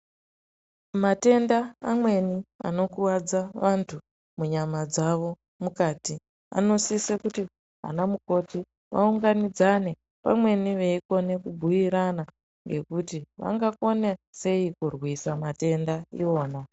Matenda amweni anokuvadza vantu munyama dzavo mukati anosise kuti ana mukoti vaunganidzane pamweni veikone kubhuirana, ngekuti vangakone sei kurwisa matenda iwona.